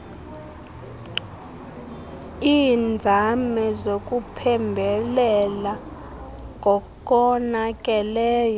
iinzame zokuphembelela ngokonakeleyo